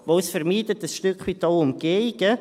Denn es vermeidet ein Stück weit auch Umgehungen.